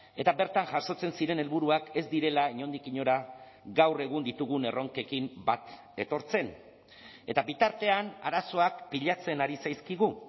eta bertan jasotzen ziren helburuak ez direla inondik inora gaur egun ditugun erronkekin bat etortzen eta bitartean arazoak pilatzen ari zaizkigu